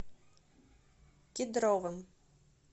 кедровым